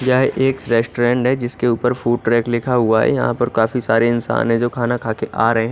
यह एक रेस्टोरेंड है जिसके फूट रेट लिखा हुआ है यहां पर काफी सारे इंसान है जो खाना खाके आ रहें--